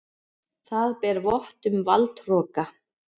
Það ber vott um valdhroka.